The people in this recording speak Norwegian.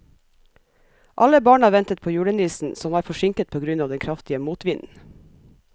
Alle barna ventet på julenissen, som var forsinket på grunn av den kraftige motvinden.